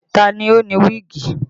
Ta ni ó ni wíìgì?